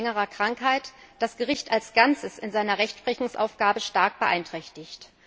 B. wegen längerer Krankheit, das Gericht als Ganzes in seiner Rechtsprechungsaufgabe stark beeinträchtigt.